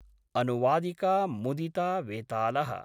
अनुवादिका Mudita Vetal: